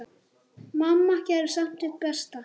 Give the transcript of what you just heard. Mamma gerði samt sitt besta.